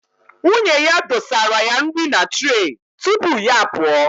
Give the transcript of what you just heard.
Nwunye ya dosara ya nri na tre tupu ya pụọ